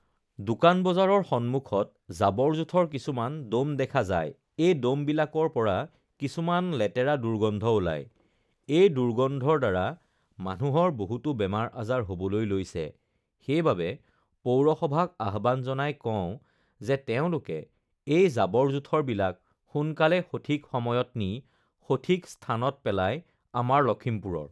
দোকান বজাৰৰ সন্মুখত জাবৰ-জোথৰ কিছুমান দ'ম দেখা যায় এই দ'মবিলাকৰ পৰা কিছুমান লেতেৰা দুৰ্গন্ধ ওলায় এই দুৰ্গন্ধৰ দ্বাৰা মানুহৰ বহুতো বেমাৰ-আজাৰ হ'বলৈ লৈছে সেইবাবে পৌৰসভাক আহ্বান জনাই কওঁ যে তেওঁলোকে এই জাবৰ-জোথৰবিলাক সোনকালে সঠিক সময়ত নি সঠিক স্থানত পেলাই আমাৰ লখিমপুৰৰ